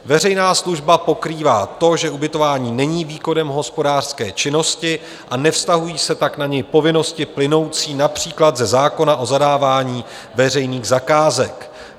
Veřejná služba pokrývá to, že ubytování není výkonem hospodářské činnosti, a nevztahují se tak na něj povinnosti plynoucí například ze zákona o zadávání veřejných zakázek.